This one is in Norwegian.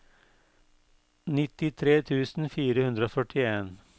nittitre tusen fire hundre og førtien